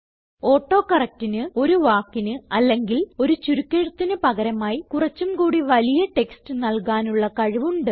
auto correctന് ഒരു വാക്കിന് അല്ലെങ്കിൽ ഒരു ചുരുക്കെഴുത്തിന് പകരമായി കുറച്ചും കൂടി വലിയ ടെക്സ്റ്റ് നല്കാനുള്ള കഴിവ് ഉണ്ട്